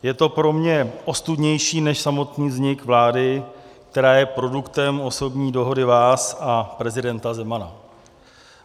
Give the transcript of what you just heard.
Je to pro mě ostudnější, než samotný vznik vlády, která je produktem osobní dohody vás a prezidenta Zemana.